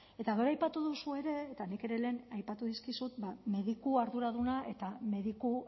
eta gero aipatu duzu ere eta nik ere lehen aipatu dizkizut mediku arduraduna eta mediku